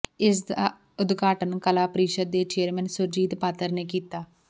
ਇਸ ਦਾ ਉਦਘਾਟਨ ਕਲਾ ਪਰਿਸ਼ਦ ਦੇ ਚੇਅਰਮੈਨ ਸੁਰਜੀਤ ਪਾਤਰ ਨੇ ਕੀਤਾ